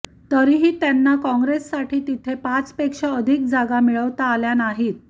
तरीही त्यांना काँग्रेससाठी तिथे पाचपेक्षा अधिक जागा मिळवता आल्या नाहीत